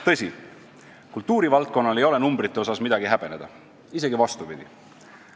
Tõsi, kultuurivaldkonnal ei ole numbrite osas midagi häbeneda, isegi vastupidi.